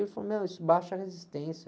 Ele falou, meu, isso baixa a resistência.